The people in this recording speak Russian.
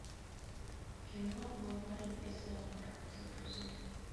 кино мой парень из зоопарка загрузи